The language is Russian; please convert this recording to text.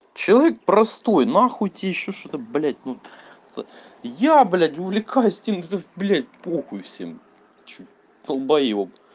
человек простой на хуй тебе ещё что-то блядь я блядь увлекаюсь блядь по хуй всем что долбаёб